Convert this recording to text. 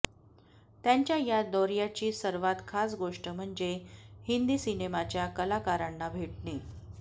त्यांच्या या दौर्याची सर्वात खास गोष्ट म्हणजे हिंदी सिनेमाच्या कलाकारांना भेटणे